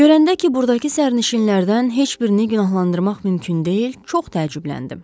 Görəndə ki, burdakı sərnişinlərdən heç birini günahlandırmaq mümkün deyil, çox təəccübləndim.